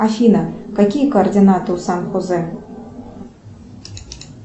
афина какие координаты у сан хосе